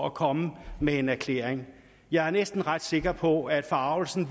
at komme med en erklæring jeg er ret sikker på at forargelsen